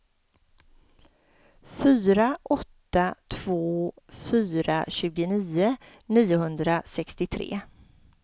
fyra åtta två fyra tjugonio niohundrasextiotre